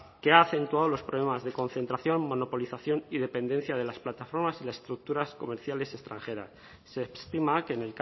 acentuado los problemas de concentración monopolización y dependencia de las plataformas y las estructuras comerciales extranjeras se estima que